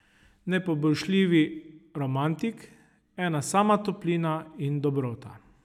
Nepoboljšljivi romantik, ena sama toplina in dobrota.